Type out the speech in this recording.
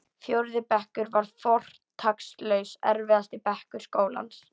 Fjórði bekkur var fortakslaust erfiðasti bekkur skólans.